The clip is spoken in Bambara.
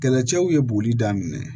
Kɛlɛcɛw ye boli daminɛ